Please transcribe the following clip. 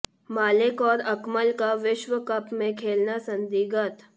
मलिक और अकमल का विश्व कप में खेलना संदिग्ध